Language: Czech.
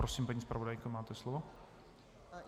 Prosím, paní zpravodajko, máte slovo.